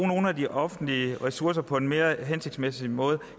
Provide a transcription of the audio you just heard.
nogle af de offentlige ressourcer på en mere hensigtsmæssig måde